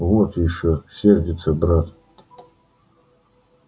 вот ещё сердится брат